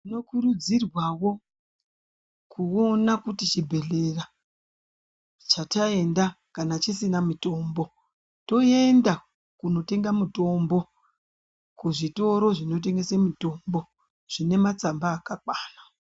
Tinokurudzirwa wo kuti chibhedhlera chat aenda kana chisina mutombo toenda kunotenga mutombo kuzvitoro zvinotengesa mitombo zvinematsamba akakwana.